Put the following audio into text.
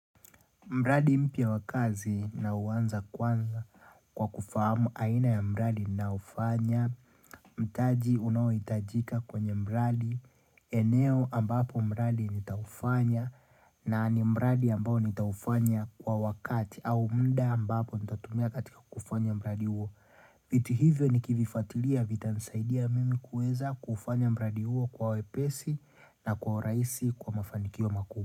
Mradi mpya wakazi nauanza kwanza kwa kufahamu aina ya mradi ninaofanya, mtaji unaoitajika kwenye mradi, eneo ambapo mradi nitaufanya na ni mradi ambao nitaufanya kwa wakati au muda ambapo nitatumia katika kufanya mradi uo. Viti hivyo ni kivifatilia vita nisaidia mimi kuweza kufanya mradi uo kwa wepesi na kwa uraisi kwa mafanikio makuu.